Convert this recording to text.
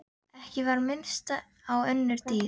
Ekki var minnst á önnur dýr.